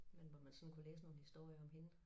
Men hvor man sådan kunne læse nogle historier om hende